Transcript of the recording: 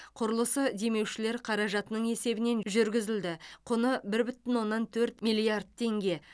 құрылысы демеушілер қаражатының есебінен жүргізілді құны бір бүтін оннан төрт миллиард теңге